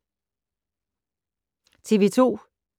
TV 2